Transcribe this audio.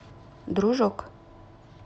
дружок